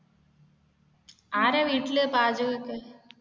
ആരാണ് വീട്ടിൽ പാചകമൊക്കെ?